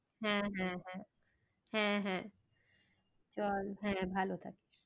হ্যাঁ হ্যাঁ হ্যাঁ হ্যাঁ হ্যাঁ চল হ্যাঁ ভালো থাকিস।